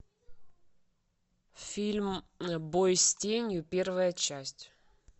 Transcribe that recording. фильм бой с тенью первая часть